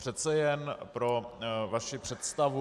Přece jen pro vaši představu.